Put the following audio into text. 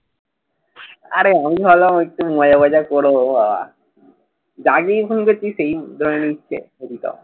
আরে অই হলো একটু মজা ফজা করবো বাবা যাকেই ফোন করছি সেই ধরে নিচ্ছে।